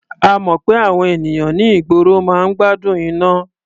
A mọ̀ pé àwọn ènìyàn ní ìgboro máa ń gbádùn iná.